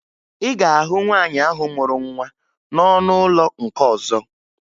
Ị ga-ahụ nwaanyị ahụ mụrụ nwa n'ọnụ ụlọ nke ọzọ